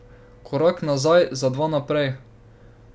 Korak nazaj za dva naprej?